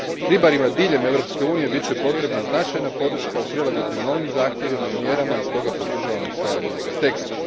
Ribarima diljem Europske unije bit će potrebna značajna podrška u prilagodbi novim zahtjevima i mjerama i stoga podržavam usvajanje ovoga teksta.